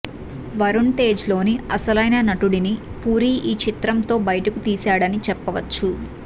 వరుణ్ తేజ్ లోని అసలైన నటుడిని పూరి ఈ చిత్రం తో బయటకు తీసాడని చెప్పవచ్చు